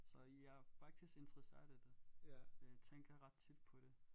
Så jeg er faktisk interesseret i det øh tænker ret tit på det